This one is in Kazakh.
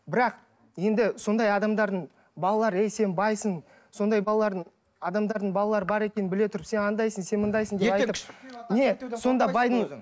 бірақ енді сондай адамдардың балалары ей сен байсың сондай балалардың адамдардың балалары бар екенін біле тұрып сен анадайсың сен мұндайсың не сонда байдың